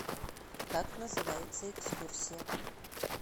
как называется экскурсия